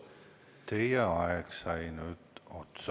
Teie aeg sai nüüd otsa.